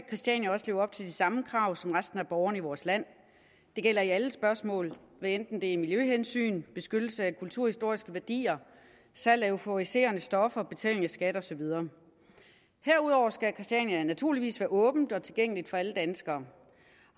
christiania også leve op til de samme krav som resten af borgerne i vores land det gælder i alle spørgsmål hvad enten det er miljøhensyn beskyttelse af kulturhistoriske værdier salg af euforiserende stoffer betaling af skatter og så videre herudover skal christiania naturligvis være åbent og tilgængeligt for alle danskere